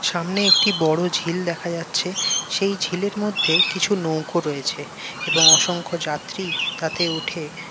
সামনে একটি বড়ো ঝিল দেখা যাচ্ছে। সেই ঝিলের মধ্যে কিছু নৌকো রয়েছে এবং অসংক্ষ যাত্রী তাতে উঠে ।